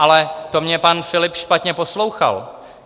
Ale to mě pan Filip špatně poslouchal.